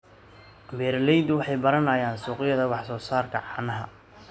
Beeraleydu waxay baranayaan suuqyada wax soo saarka caanaha.